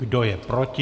Kdo je proti?